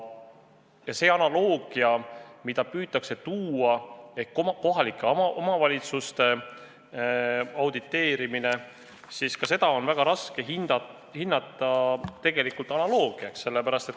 Ja see analoogia, mida püütakse tuua kohalike omavalitsuste auditeerimisega – seda on väga raske mõista.